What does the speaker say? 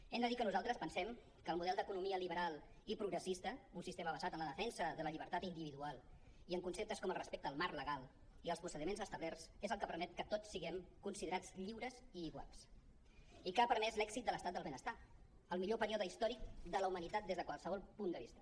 hem de dir que nosaltres pensem que el model d’economia liberal i progressista un sistema basat en la defensa de la llibertat individual i en conceptes com el respecte al marc legal i als procediments establerts és el que permet que tots siguem considerats lliures i iguals i que ha permès l’èxit de l’estat del benestar el millor període històric de la humanitat des de qualsevol punt de vista